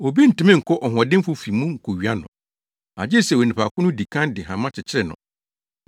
“Obi ntumi nkɔ ɔhoɔdenfo fi mu nkowia no, agye sɛ onipa ko no di kan de hama kyekyere no.